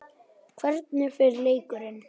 Hvernig fer leikurinn?